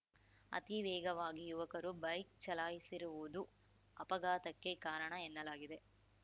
ಅತಿ ವೇಗವಾಗಿ ಯುವಕರು ಬೈಕ್‌ ಚಲಾಯಿಸಿರುವುದು ಅಪಘಾತಕ್ಕೆ ಕಾರಣ ಎನ್ನಲಾಗಿದೆ